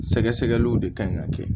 Sɛgɛsɛgɛliw de kan ɲi ka kɛ